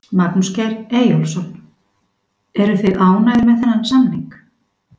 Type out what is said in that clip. Magnús Geir Eyjólfsson: Eruð þið ánægðir með þennan samning?